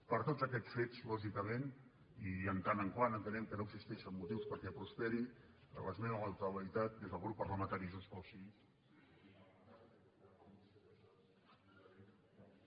per tots aquests fets lògicament i en tant que entenem que no existeixen motius perquè prosperi l’esmena a la totalitat des del grup parlamentari de junts pel sí